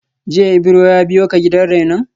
Jiya Ibro ya biyo ka gidan rainon?